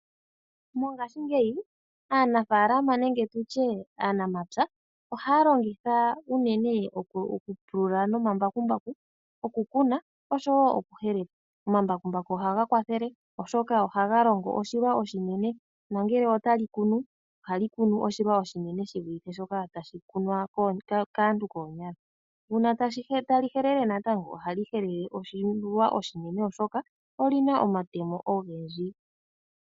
Mongashingeyi aanafalama nenge tu tye aanamapya ohaya longitha unene okupulula nomambakumbaku, okukuna osho wo okuhelela. Omambakumbaku ohaga kwathele oshoka ohaga longo oshilwa oshinene nongele otali kunu ohali kunu oshilwa oshinene shivulithe shoka tashi kunwa kaantu koonyala, uuna tali helele natango ohali helele oshilwa oshinene oshoka oli na omatemo ogendji.